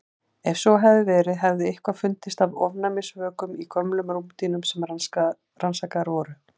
Ef svo hefði verið hefði eitthvað fundist af ofnæmisvökum í gömlum rúmdýnum sem rannsakaðar voru.